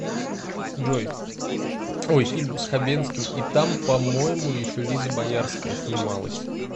джой ой фильм с хабенским и там по моему еще лиза боярская снималась